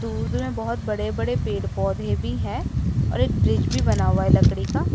दूर दूर में बहोत बड़े बड़े पेड़ पौधे भी है और एक ब्रिज भी बना हुआ है लकड़ी का।